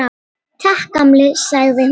Takk, gamli, sagði hún.